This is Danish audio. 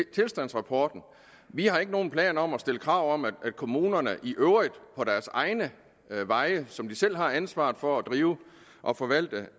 tilstandsrapporter vi har ikke nogen planer om at stille krav om at kommunerne i øvrigt for deres egne veje som de selv har ansvaret for at drive og forvalte